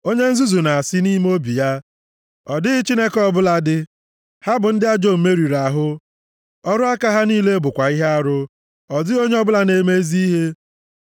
Onye nzuzu na-asị + 14:1 Maọbụ, na-eche nʼime obi ya, “Ọ dịghị Chineke ọbụla dị.” Ha bụ ndị ajọ omume riri ahụ, ọrụ aka ha niile bụkwa ihe arụ; ọ dịghị onye ọbụla na-eme ezi ihe.